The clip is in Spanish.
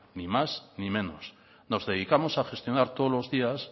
ni más ni menos nos dedicamos a gestionar todos los días